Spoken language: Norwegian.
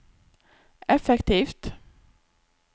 effektivt